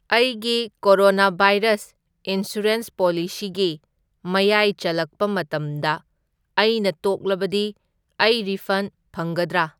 ꯑꯩꯒꯤ corona virus insurance ꯄꯣꯂꯤꯁꯤꯒꯤ ꯃꯌꯥꯏ ꯆꯜꯂꯛꯄ ꯃꯇꯝꯗ ꯑꯩꯅ ꯇꯣꯛꯂꯕꯗꯤ ꯑꯩ ꯔꯤꯐꯟ ꯐꯪꯒꯗ꯭ꯔꯥ?